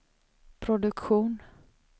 produktion